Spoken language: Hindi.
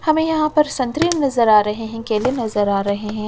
हमे यहाँ पर संतरे नजर आ रहे हैं केले नजर आ रहे हैं।